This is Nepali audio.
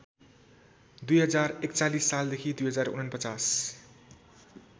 २०४१ सालदेखि २०४९